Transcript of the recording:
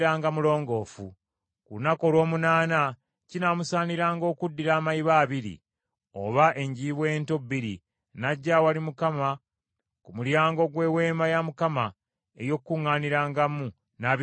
Ku lunaku olw’omunaana kinaamusaaniranga okuddira amayiba abiri, oba enjiibwa ento bbiri n’ajja awali Mukama ku mulyango gw’Eweema ey’Okukuŋŋaanirangamu n’abikwasa kabona.